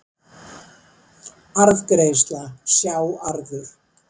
Arðgreiðsla, sjá arður